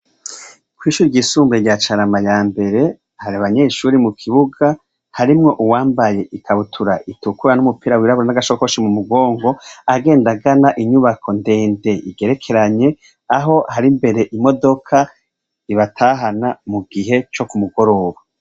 Kw'ishuri ryisumbuye rya Carama ya mbere hari abanyeshuri mu kibuga, harimwo uwambaye ikabutura itukura n'umupira wirabura n'agashakoshi mu mugongo agendana, inyubako ndende igerekeranye aho hari mbere imodoka ibatahana mu gihe co kumugoroba.